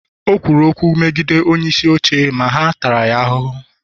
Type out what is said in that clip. o kwuru okwu megide onyeisi oche ma ha taara ya ahụhụ